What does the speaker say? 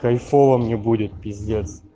кайфово мне будет пиздец